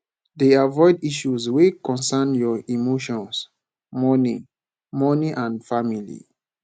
dey avoid issues wey concern your emotions money money and family